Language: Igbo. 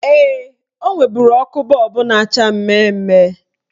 Ee, o nweburu ọkụ bọọbụ na-acha mmemme.